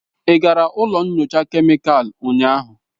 Ị gara ụlọ nyocha kemịkalụ ụnyaahụ?